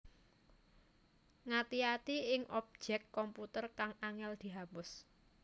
Ngati ati ing objèk komputer kang angèl dihapus